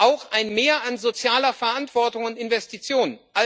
auch ein Mehr an sozialer Verantwortung und Investitionen.